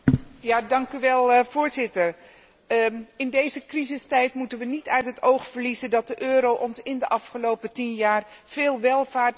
In deze crisistijd moeten wij niet uit het oog verliezen dat de euro ons in de afgelopen tien jaar veel welvaart, werkgelegenheid en stabiliteit heeft gebracht.